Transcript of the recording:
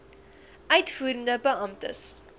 uitvoerende beampte ex